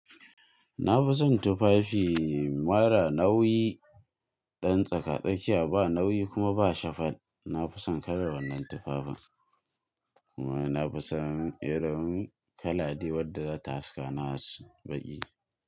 Na fi son tufafi mara nauyi, ɗan tsaka-tsakiya ba nauyi kuma ba shafal. Na fi son kalar wannan tufafin kuma na fi son irin kalar dai wadda za ta haskani as baƙi.